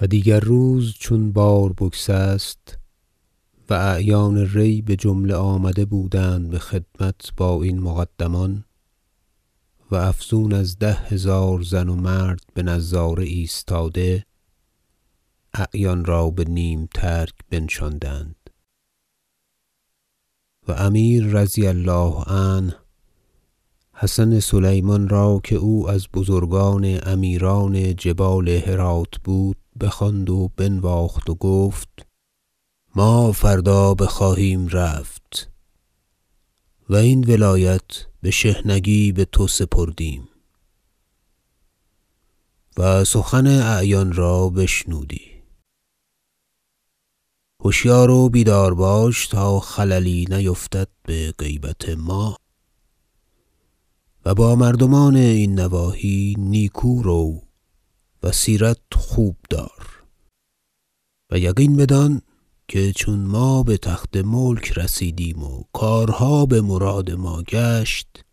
و دیگر روز چون بار بگسست -و اعیان ری بجمله آمده بودند به خدمت با این مقدمان و افزون از ده هزار زن و مرد به نظاره ایستاده - اعیان را به نیم ترک بنشاندند و امیر -رضی الله عنه- حسن سلیمان را که او از بزرگان امیران جبال هراة بود بخواند و بنواخت و گفت ما فردا بخواهیم رفت و این ولایت به شحنگی به تو سپردیم و سخن اعیان را بشنودی هشیار و بیدار باش تا خللی نیفتد به غیبت ما و با مردمان این نواحی نیکو رو و سیرت خوب دار و یقین بدان که چون ما به تخت ملک رسیدیم و کارها به مراد ما گشت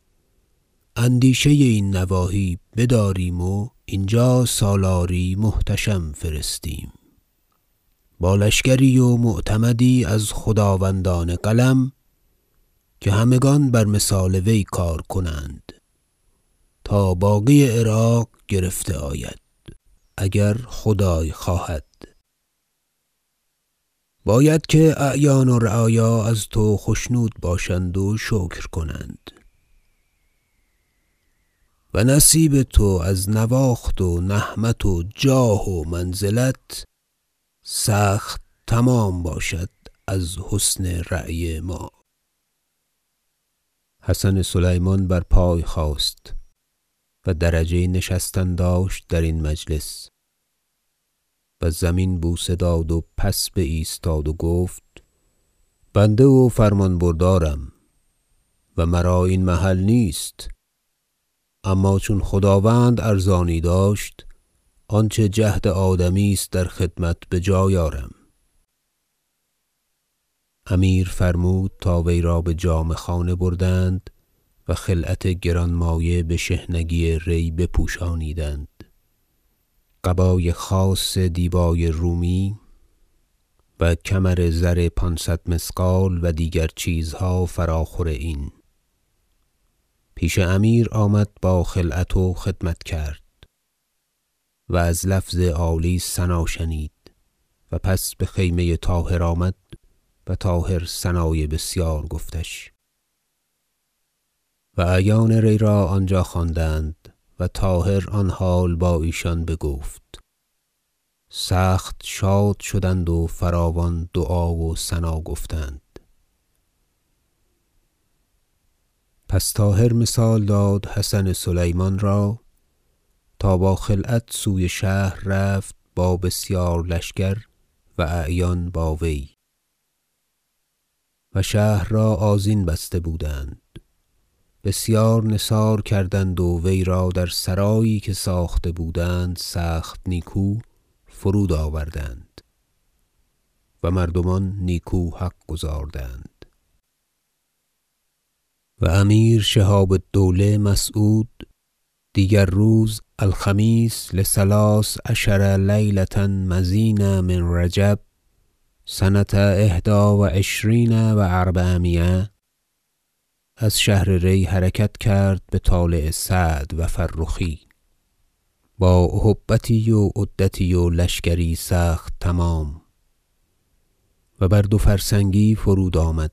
اندیشه این نواحی بداریم و اینجا سالاری محتشم فرستیم با لشکری و معتمدی از خداوندان قلم که همگان بر مثال وی کار کنند تا باقی عراق گرفته آید اگر خدای خواهد باید که اعیان و رعایا از تو خشنود باشند و شکر کنند و نصیب تو از نواخت و نهمت و جاه و منزلت سخت تمام باشد از حسن رأی ما حسن سلیمان بر پای خاست -و درجه نشستن داشت در این مجلس - و زمین بوسه داد و پس بایستاد و گفت بنده و فرمان بردارم و مرا این محل نیست اما چون خداوند ارزانی داشت آنچه جهد آدمی است در خدمت به جای آرم امیر فرمود تا وی را به جامه خانه بردند و خلعت گرانمایه به شحنگی ری بپوشانیدند قبای خاص دیبای رومی و کمر زر پانصد مثقال و دیگر چیزها فراخور این پیش امیر آمد با خلعت و خدمت کرد و از لفظ عالی ثنا شنید و پس به خیمه طاهر آمد و طاهر ثنای بسیار گفتش و اعیان ری را آنجا خواندند و طاهر آن حال با ایشان بگفت سخت شاد شدند و فراوان دعا و ثنا گفتند پس طاهر مثال داد حسن سلیمان را تا با خلعت سوی شهر رفت با بسیار لشکر و اعیان با وی و شهر را آذین بسته بودند بسیار نثار کردند و وی را در سرایی که ساخته بودند سخت نیکو فرود آوردند و مردمان نیکو حق گزاردند و امیر شهاب الدوله مسعود دیگر روز الخمیس لثلث عشر لیلة مضین من رجب سنة إحدی و عشرین و أربعمایه از شهر ری حرکت کرد به طالع سعد و فرخی با اهبتی و عدتی و لشکری سخت تمام و بر دوفرسنگی فرودآمد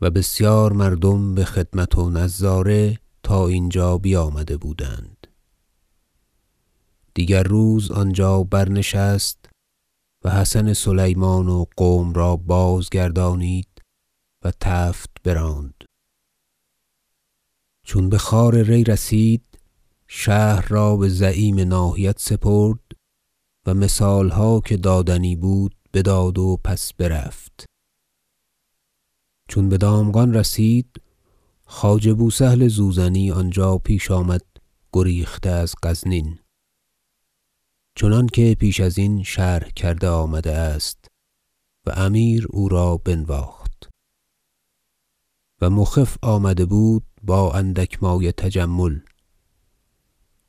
و بسیار مردم به خدمت و نظاره تا اینجا بیامده بودند دیگر روز آنجا برنشست و حسن سلیمان و قوم را بازگردانید و تفت براند چون به خوار ری رسید شهر را به زعیم ناحیت سپرد و مثالها که دادنی بود بداد و پس برفت چون به دامغان رسید خواجه بوسهل زوزنی آنجا پیش آمد گریخته از غزنین چنانکه پیش ازین شرح کرده آمده است و امیر او را بنواخت و مخف آمده بود با اندک مایه تجمل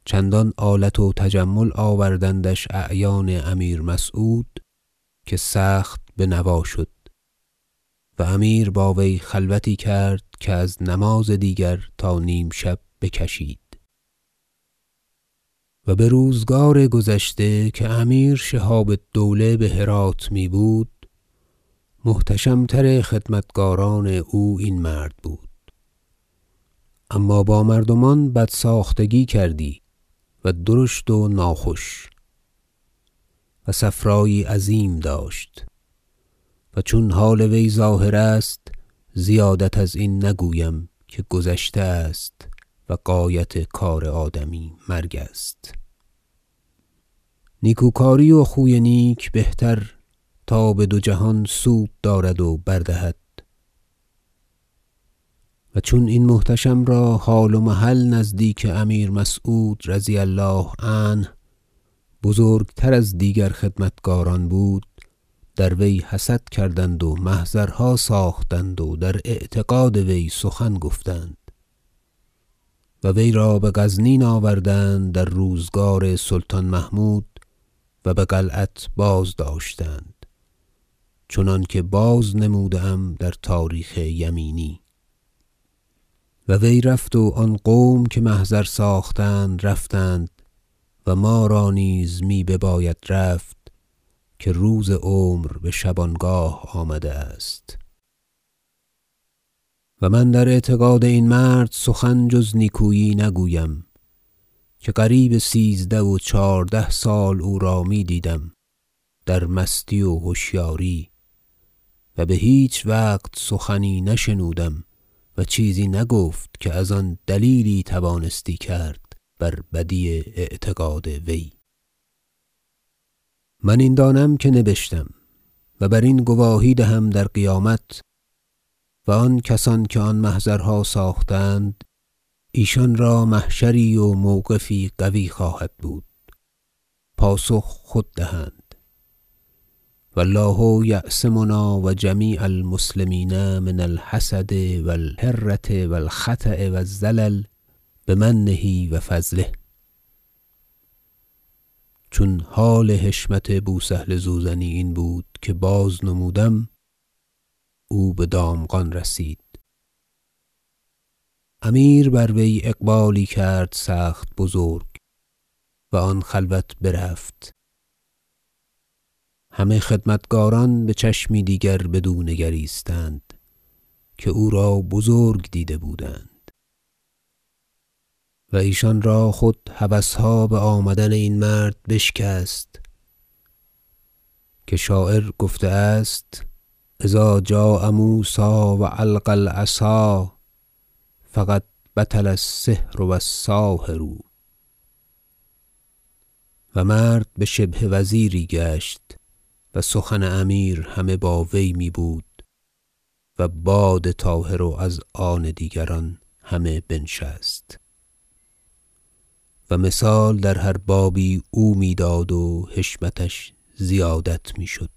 چندان آلت و تجمل آوردندش اعیان امیر مسعود که سخت بنوا شد و امیر با وی خلوتی کرد که از نماز دیگر تا نیمشب بکشید و به روزگار گذشته که امیر شهاب الدوله به هرات می بود محتشتم تر خدمتکاران او این مرد بود اما با مردمان بد ساختگی کردی و درشت و ناخوش و صفرایی عظیم داشت و چون حال وی ظاهر است زیادت از این نگویم که گذشته است و غایت کار آدمی مرگ است نیکوکاری و خوی نیک بهتر تا به دو جهان سود دارد و بر دهد و چون این محتشم را حال و محل نزدیک امیر مسعود -رضی الله عنه- بزرگتر از دیگر خدمتکاران بود در وی حسد کردند و محضرها ساختند و در اعتقاد وی سخن گفتند و وی را به غزنین آوردند در روزگار سلطان محمود و به قلعت بازداشتند چنانکه بازنموده ام در تاریخ یمینی و وی رفت و آن قوم که محضر ساختند رفتند و ما را نیز می بباید رفت که روز عمر به شبانگاه آمده است و من در اعتقاد این مرد سخن جز نیکویی نگویم که قریب سیزده و چهارده سال او را می دیدم در مستی و هشیاری و به هیچ وقت سخنی نشنودم و چیزی نگفت که از آن دلیلی توانستی کرد بر بدی اعتقاد وی من این دانم که نبشتم و برین گواهی دهم در قیامت و آن کسان که آن محضرها ساختند ایشان را محشری و موقفی قوی خواهد بود پاسخ خود دهند و الله یعصمنا و جمیع المسلمین من الحسد و الهرة و الخطأ و الزلل بمنه و فضله چون حال حشمت بوسهل زوزنی این بود که بازنمودم او به دامغان رسید امیر بر وی اقبالی کرد سخت بزرگ و آن خلوت برفت همه خدمتکاران به چشمی دیگر بدو نگریستند که او را بزرگ دیده بودند و ایشان را خود هوسها به آمدن این مرد بشکست که شاعر گفته است شعر إذا جاء موسی و ألقی العصا فقد بطل السحر و الساحر و مرد به شبه وزیری گشت و سخن امیر همه با وی می بود و باد طاهر و ازان دیگران همه بنشست و مثال در هر بابی او می داد و حشمتش زیادت می شد